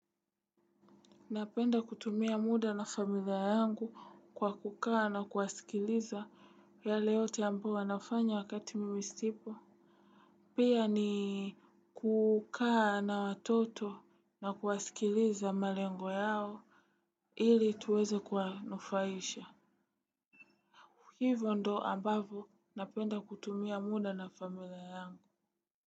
Napenda kutumia muda na familia yangu kwa kukaa na kuwasikiliza yale yote ambao wanafanya wakati mimi sipo. Pia ni kukaa na watoto na kuwasikiliza malengo yao ili tuweze kuwanufaisha. Hivyo ndo ambavo napenda kutumia muda na familia yangu.